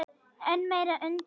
Enn meiri undrun